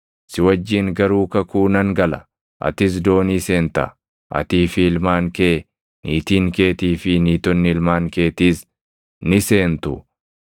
Si wajjin garuu kakuu nan gala; atis doonii seenta; atii fi ilmaan kee, niitiin keetii fi niitonni ilmaan keetiis ni seentu.